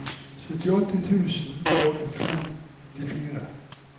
syttiåtte tusen og femtifire